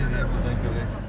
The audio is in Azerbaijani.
Çək görək burdan.